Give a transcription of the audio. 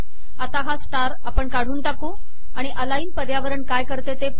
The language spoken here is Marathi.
आता हा स्टार काढून टाकू अाणि अलाइन पर्यावरण काय करते ते पाहू